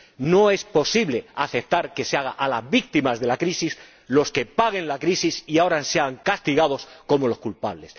No es posible aceptar que sean las víctimas de la crisis las que paguen la crisis y ahora sean castigadas como culpables.